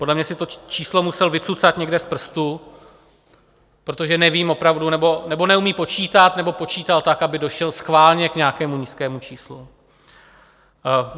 Podle mě si to číslo musel vycucat někde z prstu, protože nevím opravdu, nebo neumí počítat, nebo počítal tak, aby došel schválně k nějakému nízkému číslu.